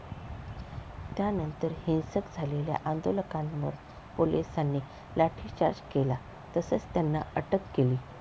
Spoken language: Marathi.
त्यांनातर हिंसक झालेल्या आंदोलकांवर पोलिसांनी लाठीचार्ज केला तसंच त्यांना अटक केली.